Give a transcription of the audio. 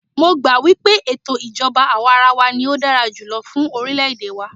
Mó gbà wípé ètò ìjọbá àwàrawa ní o dára jùlọ fún orilẹ ède wa.